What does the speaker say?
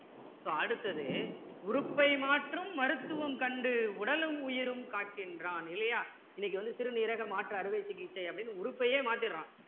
so அடுத்தது உறுப்பை மாற்றும் மருத்துவம் கண்டு உடலும் உயிரும் காக்கின்றான் இல்லையா இன்னைக்கு வந்து சிறுநீரக மாற்று அருவை சிகிச்சை அப்படின்னு உறுப்பையே மாத்திடுறான்